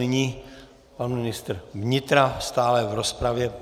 Nyní pan ministr vnitra, stále v rozpravě.